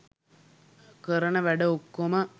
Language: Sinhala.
කරන වැඩ ඔක්කොම